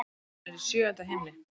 Hún er í sjöunda himni.